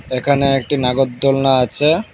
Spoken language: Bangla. এখানে একটি নাগরদোলনা আছে।